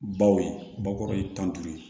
Baw ye bakɔrɔ ye tan duuru